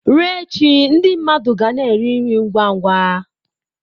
Ruo echi ndị mmadụ ga na-eri nri ngwa ngwa.